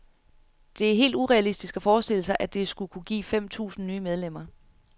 Det er helt urealistisk at forestille sig, at det skulle kunne give fem tusind nye medlemmer.